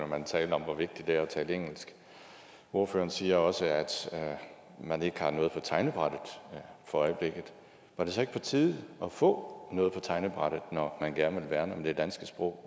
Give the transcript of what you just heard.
man at tale om hvor vigtigt det er at tale engelsk ordføreren siger også at man ikke har noget på tegnebrættet for øjeblikket var det så ikke på tide at få noget på tegnebrættet når man gerne vil værne om det danske sprog